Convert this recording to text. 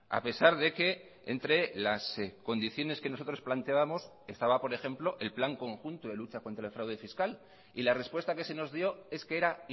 a pesar de que entre las condiciones que nosotros planteábamos estaba por ejemplo el plan conjunto de lucha contra el fraude fiscal y la respuesta que se nos dio es que era